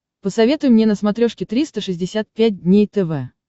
посоветуй мне на смотрешке триста шестьдесят пять дней тв